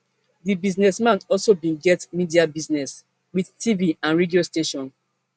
di businessman also bin get media business wit tv and radio station